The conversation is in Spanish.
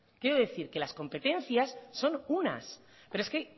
quiero decir que las competencias son unas pero es que